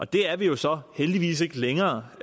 det er vi jo så heldigvis ikke længere